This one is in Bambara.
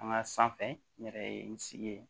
An ka sanfɛ n yɛrɛ ye n sigi ye